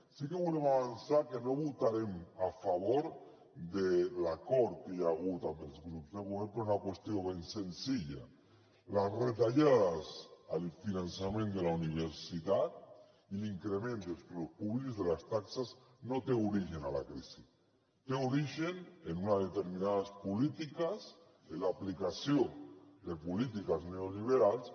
sí que volem avançar que no votarem a favor de l’acord que hi ha hagut amb els grups de govern per una qüestió ben senzilla les retallades al finançament de la universitat i l’increment dels preus públics de les taxes no tenen origen en la crisi tenen origen en unes determinades polítiques en l’aplicació de polítiques neoliberals